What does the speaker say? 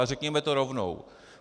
Ale řekněme to rovnou.